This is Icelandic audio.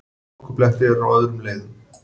Hálkublettir eru á öðrum leiðum